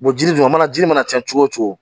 jiri dun mana jiri mana cɛn cogo cogo